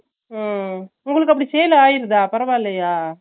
ஹம் உங்களுக்கு அப்பிடி sale ஆகிருதா பரவாலையா ?